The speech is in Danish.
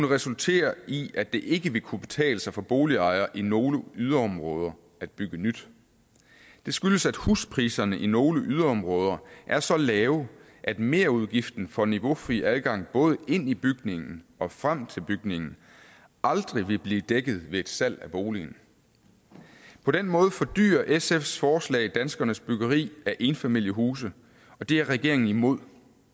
resultere i at det ikke vil kunne betale sig for boligejere i nogle yderområder at bygge nyt det skyldes at huspriserne i nogle yderområder er så lave at merudgiften for niveaufri adgang både ind i bygningen og frem til bygningen aldrig vil blive dækket ved et salg af boligen på den måde fordyrer sfs forslag danskernes byggeri af enfamiliehuse og det er regeringen imod